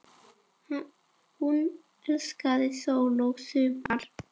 Hún elskaði sól og sumar.